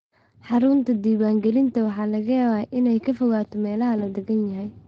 Xarunta diiwaangelinta waxaa laga yaabaa inay ka fogaato meelaha la deggan yahay.